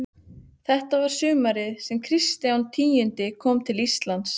Og þetta var sumarið sem Kristján tíundi kom til Íslands.